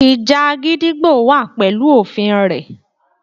Ìjà gídígbò wà pẹ̀lú òfin rẹ̀.